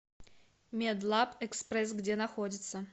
медлабэкспресс где находится